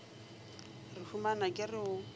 re humana ke re o